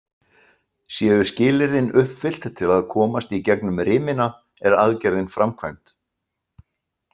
Séu skilyrðin uppfyllt til að komast í gegnum rimina, er aðgerðin framkvæmd.